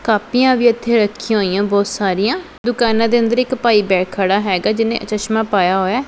ਕਾਪੀਆਂ ਵੀ ਇਥੇ ਰੱਖੀਆਂ ਹੋਈਆਂ ਬਹੁਤ ਸਾਰੀਆਂ ਦੁਕਾਨਾਂ ਦੇ ਅੰਦਰ ਇੱਕ ਪਾਈ ਬੈਕ ਖੜਾ ਹੈਗਾ ਜਿਹਨੇ ਚਸ਼ਮਾ ਪਾਇਆ ਹੋਇਆ।